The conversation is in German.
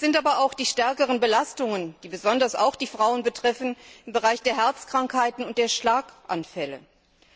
Es sind aber auch die stärkeren Belastungen, die besonders auch die Frauen betreffen und zu Herzkrankheiten und Schlaganfällen führen.